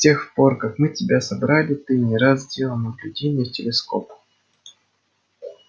с тех пор как мы тебя собрали ты не раз делал наблюдения в телескоп